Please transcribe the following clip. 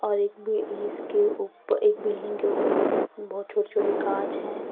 और एक भी इसके ऊपर एक बिल्डिंग के ऊपर बहोत छोटे छोटे कांच हैं।